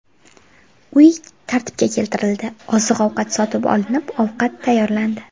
Uy tartibga keltirildi, oziq-ovqat sotib olinib, ovqat tayyorlandi.